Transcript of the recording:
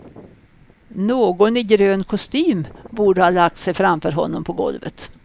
Någon i grön kostym borde ha lagt sig framför honom på golvet.